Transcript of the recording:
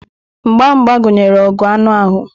Mgba mgba gụnyere ọgụ anụ ahụ.